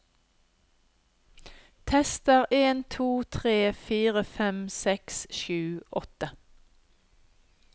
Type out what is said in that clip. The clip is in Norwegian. Tester en to tre fire fem seks sju åtte